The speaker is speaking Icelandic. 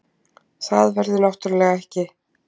Það verður náttúrulega ekki